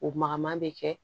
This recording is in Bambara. O maga ma bɛ kɛ